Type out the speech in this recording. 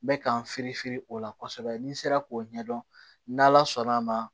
N bɛ ka n firifiri o la kosɛbɛ ni n sera k'o ɲɛdɔn n'ala sɔnna a ma